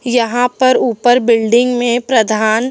यहां पर ऊपर बिल्डिंग में प्रधान--